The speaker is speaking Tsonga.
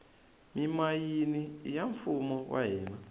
mimayini iya mfumo wa hina